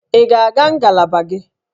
Ị ga-aga ngalaba gị?